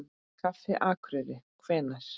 Kaffi Akureyri Hvenær?